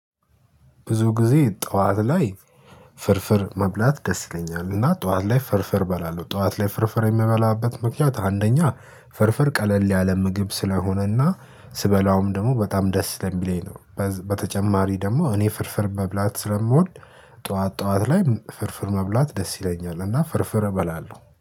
ብዙ ጊዜ ጠዋት ላይ ፍርፍር መብላት ደስ ይለኛል እና ጠዋት ላይ ፍርፍር በላለው ጠዋት ላይ ፍርፍር የምበላበት ምክንያት አንደኛ ፍርፍር ቀለል ያለ ምግብ ስለሆነና ስበላውም ደግሞ በጣም ደስ ስለሚለኝ ነው። በተጨማሪ ደግሞ እኔ ፍርፍር መብላት ስለምወድ ጠዋት ጠዋት ላይ ፍርፍር መብላት ደስ ይለኛል እና ፍርፍር እበላለሁ